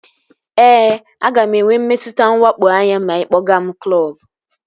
Ee, aga m enwe mmetụta nwakpo anya ma ị kpọga m klọbu